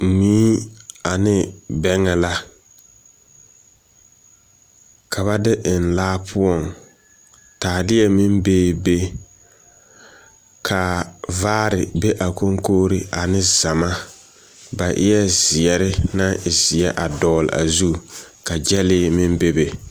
Mui ane bɛŋɛ la, ka ba de eŋ laa poɔŋ. Taaleɛ meŋ bee be. Ka, vaare be a koŋkogri ane zama. Ba eɛ zeɛre naŋ e zeɛ a dɔgle a zu ka gyɛlee meŋ bebe.